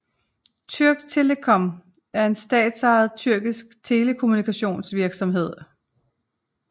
Türk Telekom er en statsejet tyrkisk telekommunikationsvirksomhed